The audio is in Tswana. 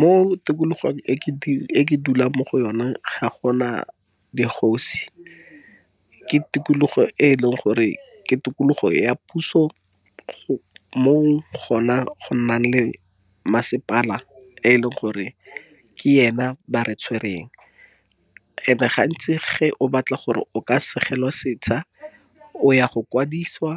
Mo tikologong e ke dulang mo go yona ga gona dikgosi. Ke tikologo e leng gore ke tikologo ya puso mo gona go nnang le masepala, e leng gore ke ena ba re tshwereng and ga ntsi ge o batla gore o ka segelwa setsha o ya go kwadisiwa.